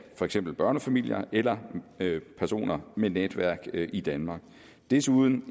for eksempel børnefamilier eller personer med netværk i danmark desuden